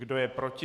Kdo je proti?